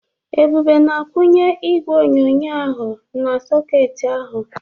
Ebube na-akwunye igwe onyonyo ahụ na-sọketị ahụ.